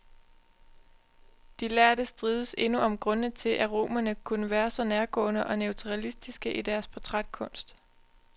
De lærde strides endnu om grundene til, at romerne kunne være så nærgående og naturalistiske i deres portrætkunst.